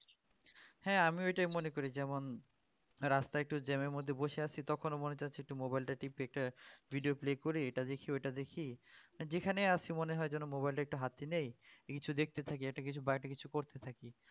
হ্যাঁ আমিও এইটাই মনে করি যেমন রাস্তায় একটু জ্যাম এর মধ্যে বসে আছি তখন মনে হচ্ছে যে একটু মোবাইলটা টিপে একটা video play করি এইটা দেখি ওইটা দেখি যেখানে আসছি মনে হয় যেন মোবাইলটা একটু হাতে নেয় কিছু দেখতে থাকি বা একটা কিছু করতে থাকি